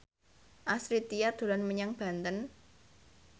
Astrid Tiar dolan menyang Banten